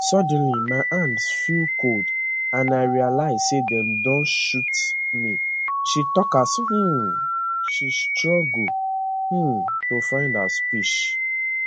suddenly my hand feel cold and i realise say dem don shoot me she tok as um she struggle um to find her speech